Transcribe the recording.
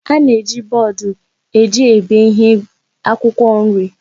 A na-eji bọọdụ eji ebe ihe ebe akwụkwọ nri.